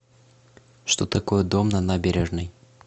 что такое дом на набережной